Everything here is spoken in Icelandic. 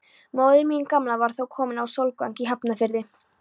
Móðir mín gamla var þá komin á Sólvang í Hafnarfirði.